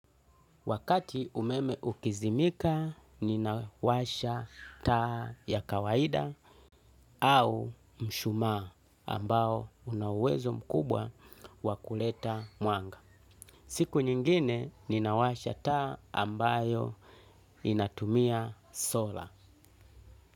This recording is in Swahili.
Wakati umeme ukizimika ninawasha taa ya kawaida au mshumaa ambao una uwezo mkubwa wa kuleta mwanga. Siku nyingine ninawasha taa ambayo inatumia sola.